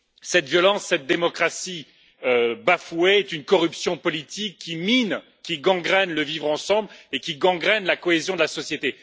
Cette violence, cette démocratie bafouée est une corruption politique qui mine, qui gangrène le vivre ensemble et qui gangrène la cohésion de la société.